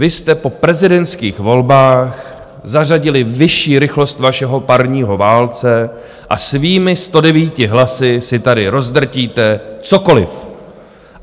Vy jste po prezidentských volbách zařadili vyšší rychlost vašeho parního válce a svými 109 (?) hlasy si tady rozdrtíte cokoliv.